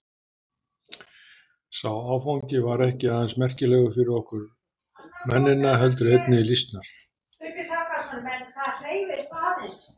Sá áfangi var ekki aðeins merkilegur fyrir okkur mennina heldur einnig lýsnar.